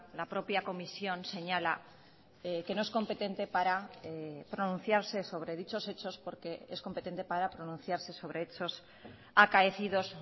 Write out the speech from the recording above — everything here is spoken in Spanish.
la propia comisión señala que no es competente para pronunciarse sobre dichos hechos porque es competente para pronunciarse sobre hechos acaecidos